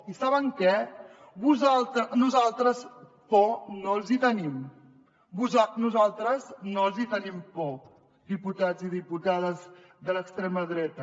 i saben què nosaltres por no els n’hi tenim nosaltres no els hi tenim por diputats i diputades de l’extrema dreta